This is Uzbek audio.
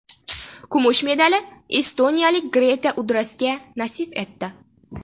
Kumush medali estoniyalik Grete Udrasga nasib etdi.